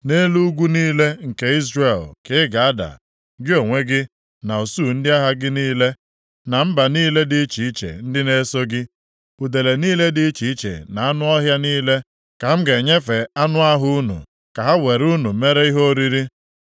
Nʼelu ugwu niile nke Izrel ka ị ga-ada, gị onwe gị, na usuu ndị agha gị niile, na mba niile dị iche iche ndị na-eso gị. Udele niile dị iche iche na anụ ọhịa niile ka m ga-enyefe anụ ahụ unu ka ha were unu mere ihe oriri.